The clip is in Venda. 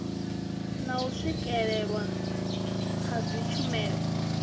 na u swikelelwa ha dzitshumelo